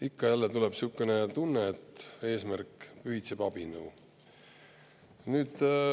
Ikka ja jälle tekib sihuke tunne, et eesmärk pühitseb abinõu.